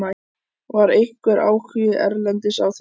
Var einhver áhugi erlendis á þér?